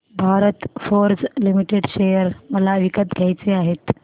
Bharat Forge Limited share मला विकत घ्यायचे आहेत